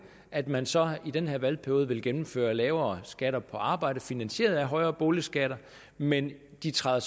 at man så i den her valgperiode vil gennemføre lavere skatter på arbejde finansieret af højere boligskatter men de træder